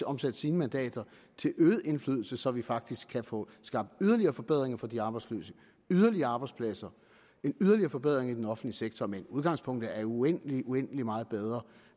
omsat sine mandater til øget indflydelse så vi faktisk kan få skabt yderligere forbedringer for de arbejdsløse yderligere arbejdspladser en yderligere forbedring i den offentlige sektor men udgangspunktet er uendelig uendelig meget bedre